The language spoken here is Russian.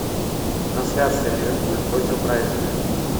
трансляция ливерпуль против брайтона